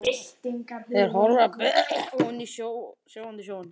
Þeir horfa beint ofan í sogandi sjóinn.